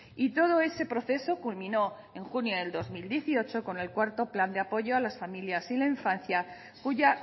y todo ese proceso culminó en junio del dos mil dieciocho con el cuarto plan de apoyo a las familias y la infancia cuya